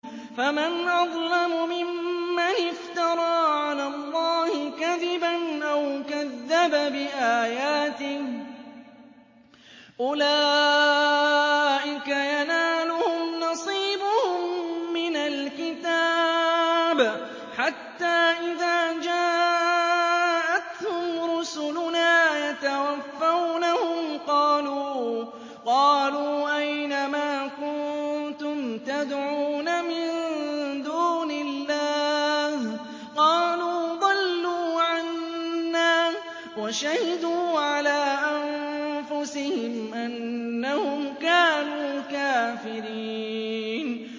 فَمَنْ أَظْلَمُ مِمَّنِ افْتَرَىٰ عَلَى اللَّهِ كَذِبًا أَوْ كَذَّبَ بِآيَاتِهِ ۚ أُولَٰئِكَ يَنَالُهُمْ نَصِيبُهُم مِّنَ الْكِتَابِ ۖ حَتَّىٰ إِذَا جَاءَتْهُمْ رُسُلُنَا يَتَوَفَّوْنَهُمْ قَالُوا أَيْنَ مَا كُنتُمْ تَدْعُونَ مِن دُونِ اللَّهِ ۖ قَالُوا ضَلُّوا عَنَّا وَشَهِدُوا عَلَىٰ أَنفُسِهِمْ أَنَّهُمْ كَانُوا كَافِرِينَ